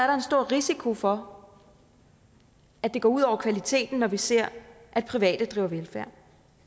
en stor risiko for at det går ud over kvaliteten når vi ser at private leverer velfærd